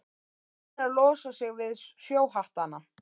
Búnir að losa sig við sjóhattana.